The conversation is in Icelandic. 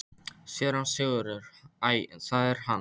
SÉRA SIGURÐUR: Æ, það er hann!